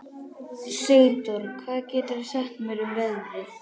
Sigdór, hvað geturðu sagt mér um veðrið?